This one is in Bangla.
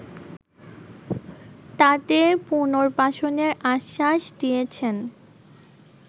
তাদের পুনর্বাসনের আশ্বাস দিয়েছেন